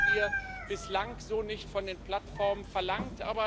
Das haben wir bislang so nicht von den Plattformen verlangt.